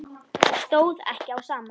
Stóð ekki á sama.